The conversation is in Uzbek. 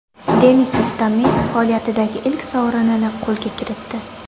Denis Istomin faoliyatidagi ilk sovrinini qo‘lga kiritdi.